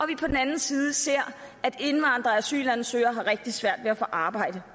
vi på den anden side ser at indvandrere og asylansøgere har rigtig svært ved at få arbejde